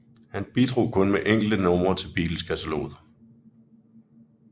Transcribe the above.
Han bidrog kun med enkelte numre til Beatleskataloget